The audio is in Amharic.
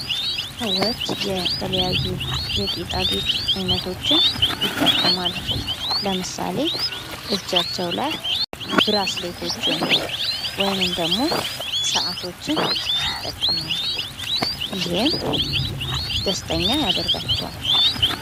ሰዎች የተለያዩ የጌጣጌጥ አይነቶችን ይጠቀማሉ። ለምሳሌ እጃቸው ላይ ብራስሌቶችን ወይንም ደግሞ ሰዓቶችን ይጠቀማሉ ። ይህም ደስተኛ ያደርጋቸዋል ።